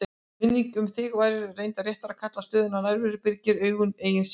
Minningin um þig, sem væri reyndar réttara að kalla stöðuga nærveru, byrgir auganu eigin sýn.